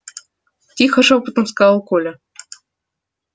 тихо шёпотом сказал коля